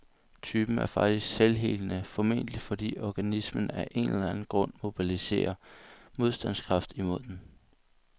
Typen er faktisk selvhelende, formentlig fordi organismen af en eller anden grund mobiliserer modstandskraft imod den.